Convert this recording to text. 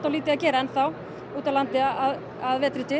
lítið að gera enn þá út á landi að vetri til